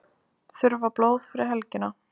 Þurfa blóð fyrir helgina